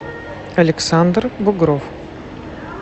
александр бугров